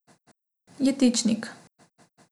Jetičnik.